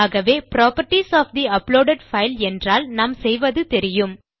ஆகவே properties of the uploaded file என்றால் நாம் செய்வது தெரியும்